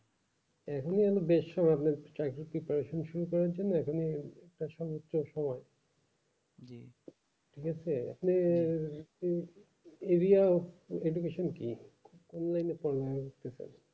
এখনই আমি বেশি ভাবলাম করার জন্য এখনই কোনো প্রশ্নের উত্তর শুনে জিসে আপনি একটু education কি